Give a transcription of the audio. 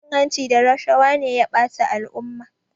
Cin hanci da rashawa ne ya bata al'umma